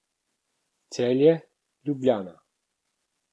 Celje, Ljubljana.